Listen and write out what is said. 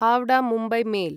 Howrah Mumbai mail